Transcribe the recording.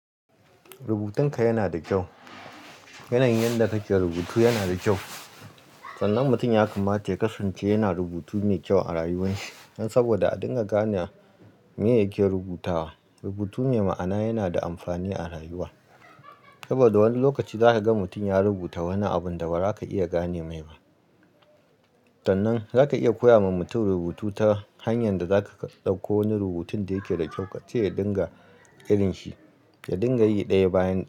Rubutun ka yana da kyau. Yanayin yadda kake rubutu yana da kyau. Sanan mutum ya kamata ya kasance yana rubutu mai kyau a rayuwarsa. Saboda a dinga gane me yake rubutawa. Rubutu mai ma'ana yana da amfani a rayuwa. Saboda wani lokaci za ka ga mutum ya rubuta wani abun da ba za ka iya gane mai ba. Sannan zaka iya koya ma mutum rubutu ta hanyar da zaka dauko wani rubutun da yake da kyau kace ya dinga irin shi, ya dinga yi daya bayan daya.